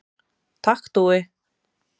Takk Dúi.